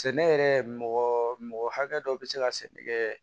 Sɛnɛ yɛrɛ mɔgɔ mɔgɔ hakɛ dɔ bɛ se ka sɛnɛ kɛ